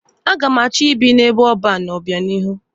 A ga m achọ ibi n'ebe ọban n'obịanihu.